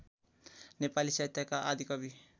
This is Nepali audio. नेपाली साहित्यका आदिकवि